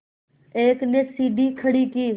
एक ने सीढ़ी खड़ी की